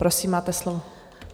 Prosím, máte slovo.